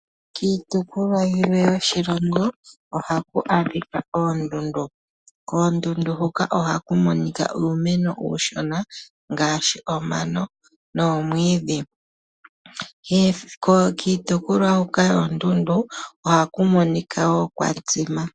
Kiitopolwa yimwe yoshilongo ohaku a dhika oondundu. Koondundu huka ohaku monika uumeno uushona ngaashi omano noomwiidhi. Kiitopolwa mbyoka yoondundu ohaku monika woo kwa tsima.